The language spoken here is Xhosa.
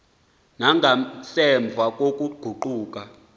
na nangasemva kokuguquka